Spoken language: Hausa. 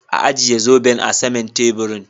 Ajie zoben a sama'n taburin.